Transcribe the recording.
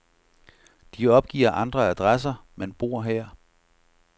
De opgiver andre adresser, men bor her.